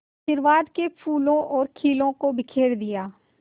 आशीर्वाद के फूलों और खीलों को बिखेर दिया